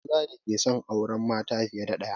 Akwai maza da ke son auren mata fiye da ɗaya